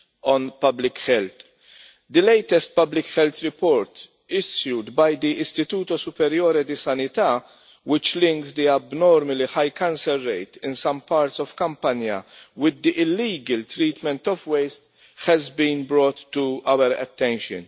on public health. The latest public health report issued by the Istituto Superiore di Sanità, which links the abnormally high cancer rate in some parts of Campania with the illegal treatment of waste, has been brought to our attention.